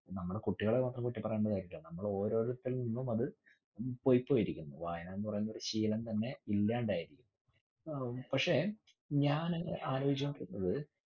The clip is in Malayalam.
നമ്മടെ കുട്ടികളെ മാത്രം കുറ്റം പറഞ്ഞിട്ട് കാര്യമില്ല. നമ്മള് ഓരോരുത്തരിൽനിന്നും അത് പൊയ്‌പോയിരിക്കുന്നു. വായന എന്ന്പറയുന്ന ഒരു ശീലം തന്നെ ഇല്യാണ്ടായി. ഹും പക്ഷെ ഞാന്‌ ആലോചിച്ചപ്പഴ്